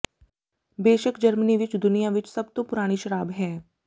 ਬੇਸ਼ੱਕ ਜਰਮਨੀ ਵਿਚ ਦੁਨੀਆਂ ਵਿਚ ਸਭ ਤੋਂ ਪੁਰਾਣੀ ਸ਼ਰਾਬ ਹੈ